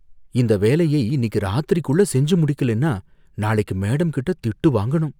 இந்த வேலையை இன்னிக்கு ராத்திரிக்குள்ள செஞ்சு முடிக்கலன்னா, நாளைக்கு மேடம் கிட்ட திட்டு வாங்கணும்.